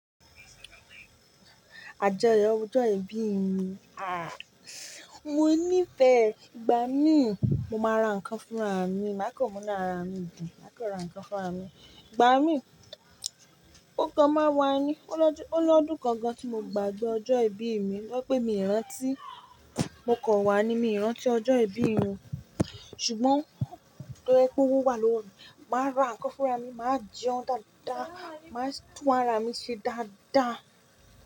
Àjọyọ̀ ọjọ́ ìbí mi, ah, mo ní fẹ̀. Gba mi, mo máa ra nǹkan fún ra mi, má kan mu inú ára mi dù, má kan ra nǹkan fún ra mi. Gba mi, mo kan máa wá ni, ó lọ́dún kan gan tí mo gbàgbé ọjọ́ ìbí mi, to je pé mi rántí, mo kọ̀ wá ni, mi rántí ọjọ́ ìbí mi. Ṣùgbọ́n, to ba jẹ pé ó wá lówó mi, màá ra nǹkan fún ra mi, màá jẹun dáadáa, màá tún ara mi ṣe dáadáa.